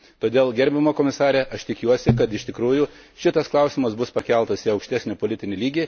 Todėl, gerbiama komisare, aš tikiuosi, kad iš tikrųjų šitas klausimas bus pakeltas į aukštesnį politinį lygį.